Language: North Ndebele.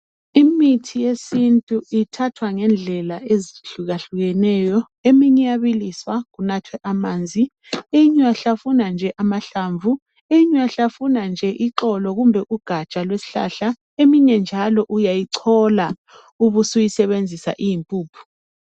imithi yesintu ithathwa ngendlela ezihlukahlukeneyo eyinye iyabiliswa kuthathwe amanzi eyinye uyayihlafuna nje amahlamvu eyinye uyahlafuna nje ixolo kumbe ugaja lwesihlahla eyinye uyayicola ubususebenzisa siyimpuphu.